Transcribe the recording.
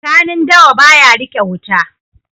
Kanun dawa ba ya riƙe wuta.